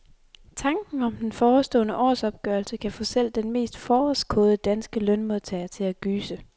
Tanken om den forestående årsopgørelse kan få selv den mest forårskåde danske lønmodtager til at gyse.